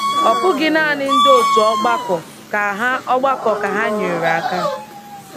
Ọ bụghị naanị ndị otu ọgbakọ ka ha ọgbakọ ka ha nyeere aka.